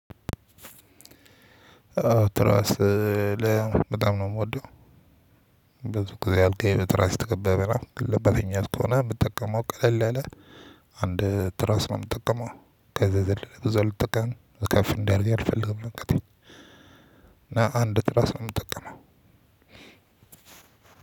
ትራስ በጣም ነው የምወደው። ብዙ ጊዜ አልጋዬ በትራስ የተከበበ ናት። ግን ለበፍኛት ከሆነ የምትጠቀመው ቀለል ያለ አንድ ትራስ ነው የምትጠቀመው። ከዛ የዘለለ ብዙ አልጠቀምም ከፍ እንድአያደርገኝ አልፈልግም ቀጠለኝ። እና አንድ ትራስ ነው የምጠቀመው።